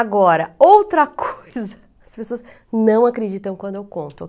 Agora, outra coisa, as pessoas não acreditam quando eu conto.